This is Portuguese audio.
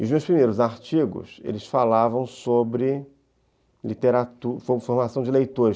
E os meus primeiros artigos falavam sobre literatura, sobre formação de leitores.